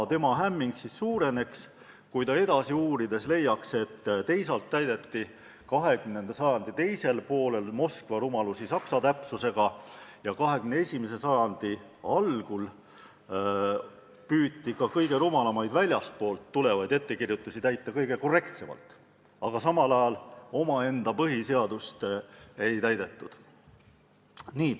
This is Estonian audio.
Tema hämming suureneks, kui ta edasi uurides leiaks, et 20. sajandi teisel poolel täideti Moskva rumalusi lausa saksa täpsusega ja 21. sajandi algul püüti ka kõige rumalamaid väljastpoolt tehtud ettekirjutusi järgida kõige korrektsemalt, kuid samal ajal omaenda põhiseadust ei täidetud.